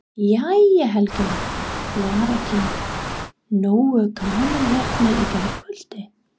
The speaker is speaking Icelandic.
Jæja Helgi minn, var ekki nógu gaman hérna í gærkvöldi?